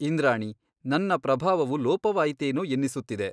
ಇಂದ್ರಾಣಿ ನನ್ನ ಪ್ರಭಾವವು ಲೋಪವಾಯಿತೇನೋ ಎನ್ನಿಸುತ್ತಿದೆ.